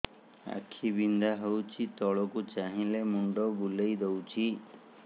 ଆଖି ବିନ୍ଧା ହଉଚି ତଳକୁ ଚାହିଁଲେ ମୁଣ୍ଡ ବୁଲେଇ ଦଉଛି